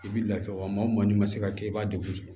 I bi lafiya wa maa o maa n'i ma se ka kɛ i b'a degun